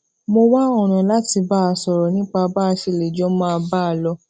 mo wá ònà láti bá a sòrò nípa bá a ṣe lè jọ máa bá a lọ